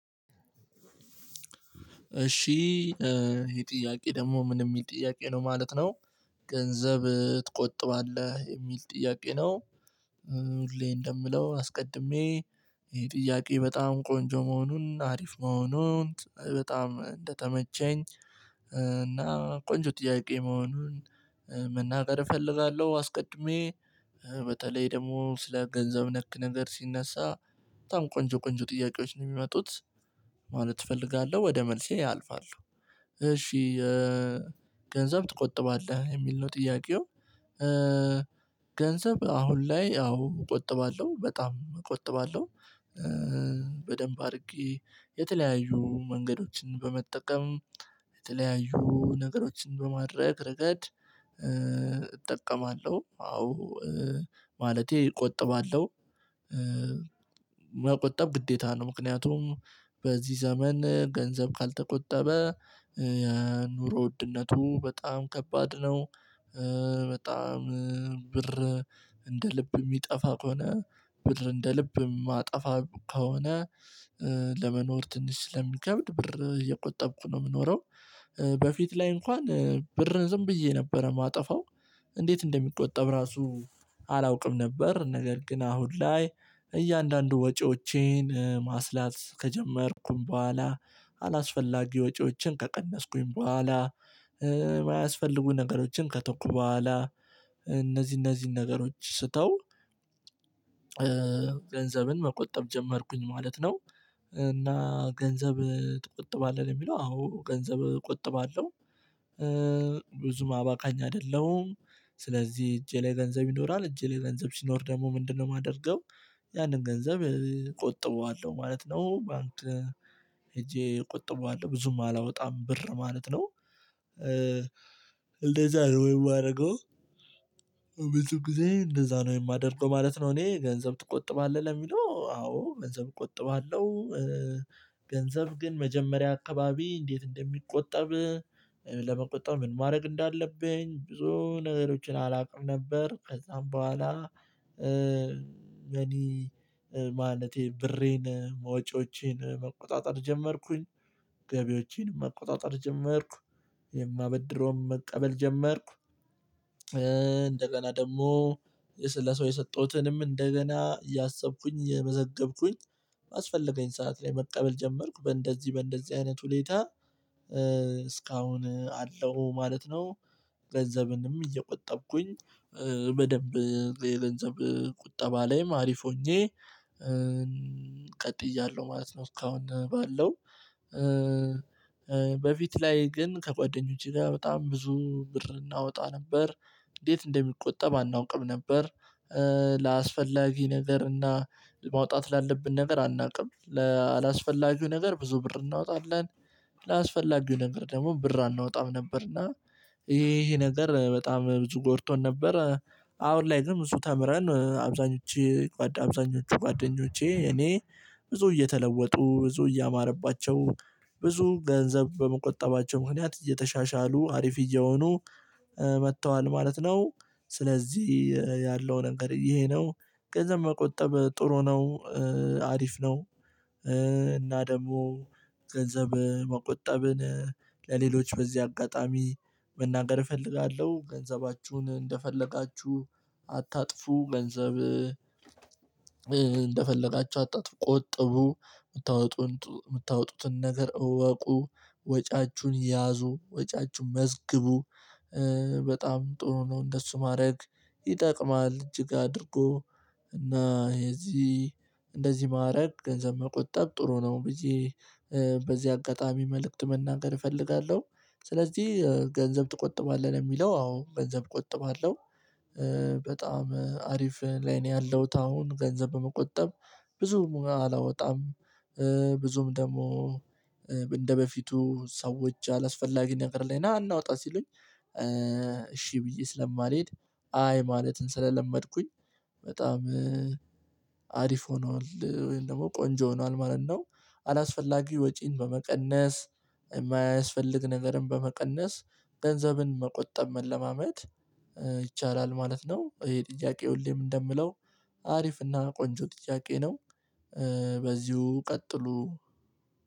እሺ ይሄ ጥያቄ ደግሞ ምን የሚል ጥያቄ ነው ማለት ነው ገንዘብ ትቆጥባለህ? የሚል ጥያቄ ነው። ሁሌ እንደምለው አስቀድሜ ይሄ ጥያቄ በጣም ቆንጆ መሆኑን፣ አሪፍ መሆኑን፣ በጣም እንደተመቸኝ እና ቆንጆ ጥያቄ መሆኑን መናገር እፈልጋለሁ። አስቀድሜ በተለይ ደግሞ ስለ ገንዘብ ነክ ነገር ሲነሳ በጣም ቆንጆ ቆንጆ ጥያቄዎች ነው የሚመጡት ማለት እፈልጋለሁ። ወደ መልሴ አልፋለሁ። እሺ ገንዘብ ትቆጥባለህ? የሚል ነው ጥያቄው። ገንዘብ አሁን ላይ አዎ እቆጥባለሁ። በጣም እቆጥባለሁ። በደንብ አድርጌ የተለያዩ መንገዶችን በመጠቀም የተለያዩ ነገሮችን በማድረግ ረገድ እጠቀማለሁ አዎ ማለቴ እቆጥባለሁ። መቆጠብ ግዴታ ነው። ምክንያቱም በዚህ ዘመን ገንዘብ ካልተቆጠበ የኑሮ ውድነቱ በጣም ከባድ ነው። በጣም ብር እንደ ልብ የሚጠፋ ከሆነ ብር እንደ ልብ የማጠፋ ከሆነ ለመኖር ትንሽ ስለሚከብድ ብር እየቆጠብኩ ነው የምኖረው። በፊት ላይ እንኳን ብር ዝም ብዬ ነበር የማጠፋው። እንዴት እንደሚቆጠብ ራሱ አላውቅም ነበር። ነገር ግን አሁን ላይ እያንዳንዱ ወጪዎቼን ማስላት ከጀመርኩ በኋላ አላስፈላጊ ወጪዎችን ከቀነስኩኝ በኋላ፣ ማያስፈልጉ ነገሮችን ከተኩ በኋላ እነዚህ እነዚህን ነገሮች ስተው ገንዘብን መቆጠብ ጀመርኩኝ ማለት ነው። እና ገንዘብ ትቆጥባለህ? የሚለው አዎ ገንዘብ እቆጥባለሁ። ብዙም አባካኝ አይደለም። ስለዚህ እጄ ላይ ገንዘብ ይኖራል። እጄ ላይ ገንዘብ ሲኖር ደግሞ ምንድነው የማደርገው ያንን ገንዘብ እቆጥበዋለሁ ማለት ነው። ባንክ ሄጄ እቆጥባለሁ። ብዙም አላወጣም ብር ማለት ነው። እንደዛ ነው የማደርገው። ብዙ ጊዜ እንደዛ ነው የማደርገው ማለት ነው። እኔ ገንዘብ ትቆጥባለህ? ለሚለው አዎ ገንዘብ እቆጥባለሁ። በጣም ብር እንደ ልብ የሚጠፋ ከሆነ ብር እንደ ልብ የማጠፋ ከሆነ ለመቆጠብ ምን ማድረግ እንዳለብኝ ብዙ ነገሮችን አላውቅም ነበር። ከዛም በኋላ እኔ ማለቴ ብሬን መውጪዎቼን መቆጣጠር ጀመርኩ። ገቢዎቸን መቆጣጠር ጀመርኩ። የማበድረውን መቀበል ጀመርኩ። እንደገና ደግሞ ለሰው የሰጠሁትንም እንደገና እያሰብኩኝ እየመዘገብኩኝ ባስፈለገኝ ሰዓት ላይ መቀበል ጀመርኩ። በእንደዚህ በእንደዚህ አይነት ሁኔታ እስካሁን አለው ማለት ነው። ገንዘብንም እየቆጠብኩኝ በደንብ የገንዘብ ቁጠባ ላይም አሪፍ ሆኜ ቀጥያለሁ ማለት ነው። እስካሁን ባለው በፊት ላይ ግን ከጓደኞቸ ጋር በጣም ብዙ ብር እናወጣ ነበር። እንዴት እንደሚቆጠብ አናውቅም ነበር። ለአስፈላጊ ነገር እና ማውጣት ላለብን ነገር አናውቅም። ለአላስፈላጊው ነገር ብዙ ብር እናወጣለን። ለአላስፈላጊው ነገር ደግሞ ብር አናወጣም ነበር። እና ይሄ ነገር በጣም ብዙ ጎድቶን ነበር። አሁን ላይ ደግሞ ብዙ ተምረን አብዛኞቸ አብዛኞቹ ጓደኞቼ እኔ ብዙ እየተለወጡ፣ ብዙ እያማረባቸው፣ ብዙ ገንዘብ በመቆጠባቸው ምክንያት እየተሻሻሉ አሪፍ እየሆኑ መጥተዋል ማለት ነው። ስለዚህ ያለው ነገር ይሄ ነው። ገንዘብ መቆጠብ ጥሩ ነው። አሪፍ ነው። እና ደግሞ ገንዘብ መቆጠብን ለሌሎች በዚህ አጋጣሚ መናገር እፈልጋለሁ። ገንዘባችሁን እንደፈለጋችሁ አታጥፉ፣ ገንዘብ እንደፈለጋቸው፣ ቆጥቡ፣ የምታወጡትን ነገር እወቁ። ወጫችሁን ያዙ፣ ወጫችሁን መዝግቡ፣ በጣም ጥሩ ነው እንደሱ ማድረግ፣ ይጠቅማል እጅግ አድርጎ። እና የዚህ እንደዚህ ማድረግ ገንዘብ መቆጠብ ጥሩ ነው። በዚህ አጋጣሚ መልእክት መናገር እፈልጋለሁ። ስለዚህ ገንዘብ ትቆጥባለህ? የሚለው አዎ ገንዘብ እቆጥባለሁ። በጣም አሪፍ ላይ ነው ያለሁት አሁን ገንዘብ በመቆጠብ። ብዙም አላወጣም። ብዙም ደግሞ እንደበፊቱ ሰዎች አላስፈላጊ ነገር ላይ ና እናወጣ? ሲሉኝ እሺ ብዬ ስለማልሄድ፣ አይ ማለትን ስለለመድኩኝ በጣም አሪፍ ሆኗል ወይም ደግሞ ቆንጆ ሆኗል ማለት ነው። አላስፈላጊ ወጪን በመቀነስ፣ የማያስፈልግ ነገርን በመቀነስ፣ ገንዘብን መቆጠብ መለማመድ ይቻላል ማለት ነው። ይሄን ጥያቄ ሁሌም እንደምለው አሪፍና ቆንጆ ጥያቄ ነው። በዚሁ ቀጥሉ።